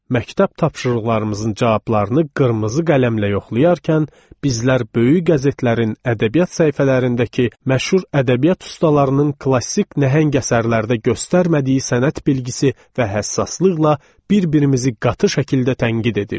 Məktəb tapşırıqlarımızın cavablarını qırmızı qələmlə yoxlayarkən, bizlər böyük qəzetlərin ədəbiyyat səhifələrindəki məşhur ədəbiyyat ustalarının klassik nəhəng əsərlərdə göstərmədiyi sənət bilgisi və həssaslıqla bir-birimizi qatı şəkildə tənqid edirdik.